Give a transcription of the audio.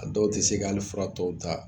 A dɔw tɛ se ka hali fura tɔw ta